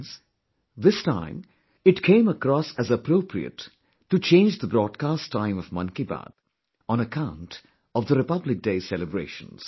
Friends, this time, it came across as appropriate to change the broadcast time of Mann Ki Baat, on account of the Republic Day Celebrations